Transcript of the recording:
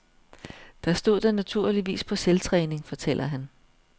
Der stod den naturligvis på selvtræning, fortæller han.